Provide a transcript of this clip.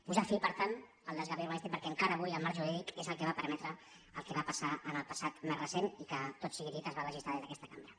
posar fi per tant al desgavell urbanístic perquè enca·ra avui el marc jurídic és el que va permetre el que va passar en el passat més recent i que tot sigui dit es va legislar des d’aquesta cambra